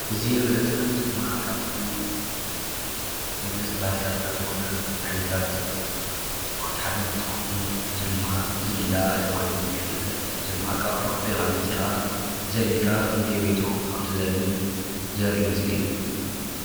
እዙይ እንርእዮ ዘለና ምስሊ ድማ ካብቶም መግለፂ ባህልታትና ዝኮኑ ዓይነታት ስፖርት ሓደ እንትከውን እዙይ ድማ ዝላ ተባህሉ ይፍለጥ። እዙይ ድማ ካብ ርሕቁ ጎይካ መፂካ ዘሊልካ ክንደይ ሜትሮ ከም እትዘልል ዘርእይ ምስሊ እዩ።